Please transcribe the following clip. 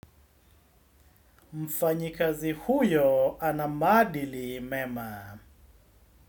Mfanyikazi huyo ana maadili mema.